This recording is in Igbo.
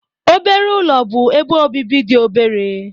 Obere ụlọ bụ ebe obibi dị obere.